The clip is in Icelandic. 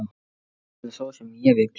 Hann er sá sem ég vil.